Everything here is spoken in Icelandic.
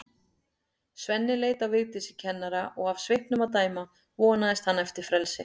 Svenni leit á Vigdísi kennara og af svipnum að dæma vonaðist hann eftir frelsi.